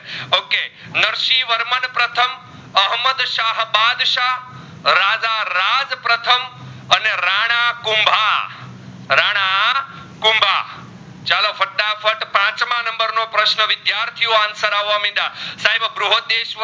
પ્રશ્ન વિદ્યાર્થીઓ answer આવવા મીદા સાહેબ આ બ્રોદેશ્વર